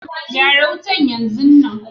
Gyara wutan yanzon nan.